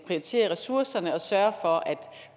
prioritere ressourcerne og sørge for at